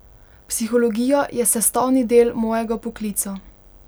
Psihologija je sestavni del mojega poklica.